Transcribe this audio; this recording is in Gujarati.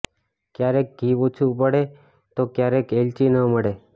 ક્યારેક ઘી ઓછું પડે તો ક્યારેક એલચી ન મળે